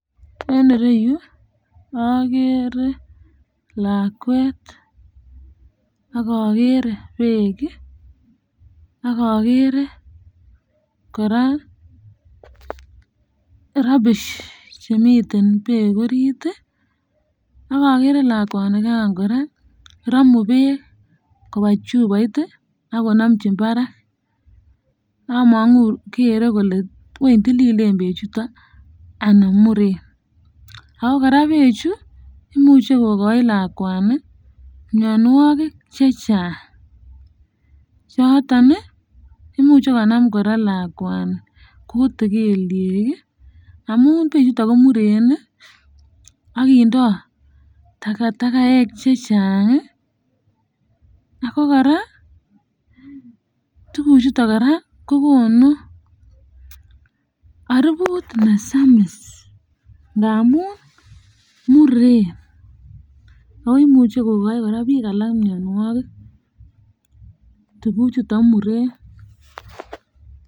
En irou agere lakwet ak agere beek ak agere koraa rubbish chemiten beek orit ak agere lakwanikan kogeny ii koraa Ramu beek kobwa chupoit ak konomjin barak omoku weny gere kole wany tililen beek chuton anan muren ago koraa bechu imuche kokai lakwani mionwogik chechang choton imuche konam koraa lakwani kutik keliek ii amun beek chuton komuren ak kindoo takatakaek chechang ago koraa tuguk ichuton kokonu aruput ne samis ndamun muren ago imuche kokai biik alak mionwogik tuguk ichuton muren.